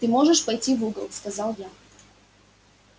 ты можешь пойти в угол сказал я